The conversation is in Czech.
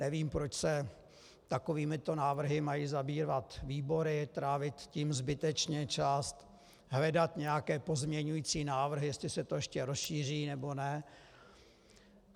Nevím, proč se takovýmito návrhy mají zabývat výbory, trávit tím zbytečně čas, hledat nějaké pozměňující návrhy, jestli se to ještě rozšíří, nebo ne.